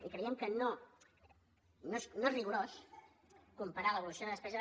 i creiem que no és rigorós comparar l’evolució de despesa